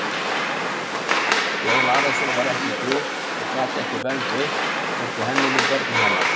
Jón Arason var ekki Guð og gat enga vernd veitt, hvorki henni né börnum hennar!